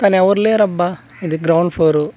కనెవర్ లేరబ్బా ఇది ground floor .